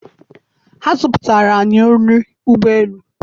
ha zọpụtara anyị nri ụgbọ elu